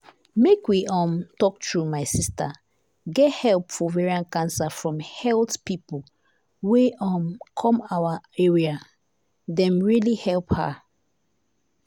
make we um talk true my sister get help for ovarian cancer from health pipo wey um come our area dem really help her.